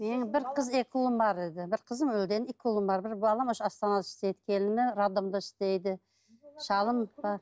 менің бір қыз екі ұлым бар еді бір қызым өлген екі ұлым бар бір балам астанада істейді келінім роддомда істейді шалым бар